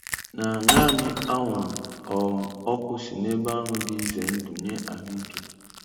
na naanị anwụrụ um ọkụ si n'ebe ahụ dị ize ndụ nye ahụike.